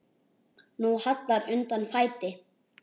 Nú hallar undan fæti.